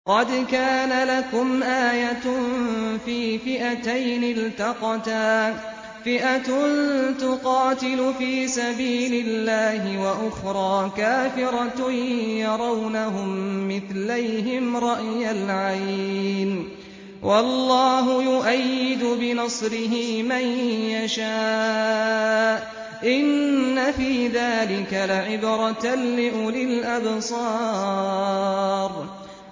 قَدْ كَانَ لَكُمْ آيَةٌ فِي فِئَتَيْنِ الْتَقَتَا ۖ فِئَةٌ تُقَاتِلُ فِي سَبِيلِ اللَّهِ وَأُخْرَىٰ كَافِرَةٌ يَرَوْنَهُم مِّثْلَيْهِمْ رَأْيَ الْعَيْنِ ۚ وَاللَّهُ يُؤَيِّدُ بِنَصْرِهِ مَن يَشَاءُ ۗ إِنَّ فِي ذَٰلِكَ لَعِبْرَةً لِّأُولِي الْأَبْصَارِ